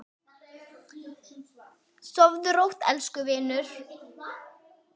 Sofðu rótt, elsku vinur.